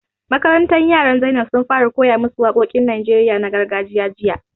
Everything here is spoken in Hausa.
Makarantar yaran Zainab sun fara koya ma su waƙoƙin Najeriya na gargajiya jiya